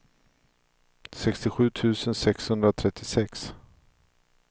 sextiosju tusen sexhundratrettiosex